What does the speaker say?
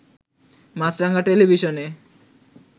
মাছরাঙা টেলিভিশনে